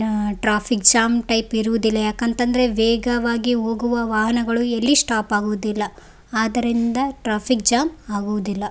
Traffic jam type ಇರುವುದಿಲ್ಲ ಯಾಕಂತಂದ್ರೆ ವೇಗವಾಗಿ ಹೋಗುವ ವಾಹನಗಳು ಎಲ್ಲಿ ಸ್ಟೋಪ್ ಆಗುವುದಿಲ್ಲ ಆದರಿಂದ ಟ್ರಾಫಿಕ್ ಜ್ಯಾಮ್ ಆಗುವುದಿಲ್ಲ.